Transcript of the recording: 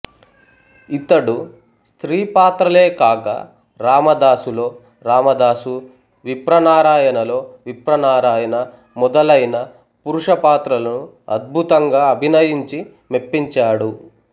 ఇతడు స్త్రీ పాత్రలేకాక రామదాసు లో రామదాసు విప్రనారాయణలో విప్రనారాయణ మొదలైన పురుష పాత్రలను అద్భుతంగా అభినయించి మెప్పించాడు